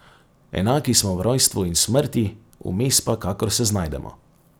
Enaki smo v rojstvu in v smrti, vmes pa, kakor se znajdemo.